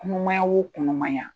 Kɔnɔmaya o kɔɔnɔmaya.